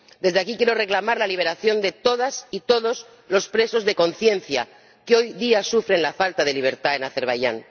Desde aquí quiero reclamar la liberación de todas y todos los presos de conciencia que hoy día sufren la falta de libertad en Azerbaiyán.